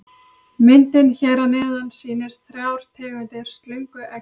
Myndin hér að neðan sýnir þrjár tegundir slöngueggja.